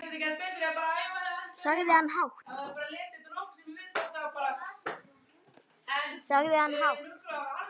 sagði hann hátt.